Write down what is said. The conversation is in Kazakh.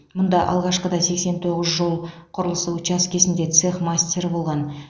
мұнда алғашқыда сексен тоғыз жол құрылысы учаскесінде цех мастері болған